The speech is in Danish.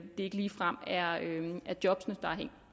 ikke ligefrem er jobbene